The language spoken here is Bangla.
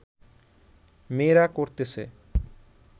মেয়েরা করতেছে